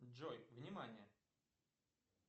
джой внимание